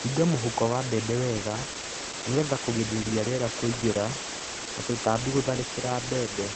Hinga mũhuko wa mbembe wega nĩgetha kũgirĩrĩria rĩera kũingĩra na tũtambi gũtharĩkĩra mbembe.